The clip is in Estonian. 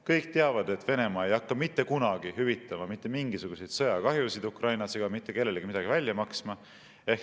Kõik teavad, et Venemaa ei hakka mitte kunagi hüvitama mitte mingisuguseid sõjakahjusid Ukrainas ega mitte kellelegi midagi välja maksma.